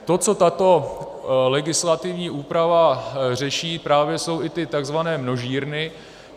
To, co tato legislativní úprava řeší, právě jsou i ty tzv. množírny.